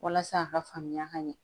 Walasa a ka faamuya ka ɲɛ